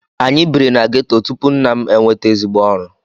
Anyị bírí na ghetto tupu nna m enweta ezigbo ọrụ.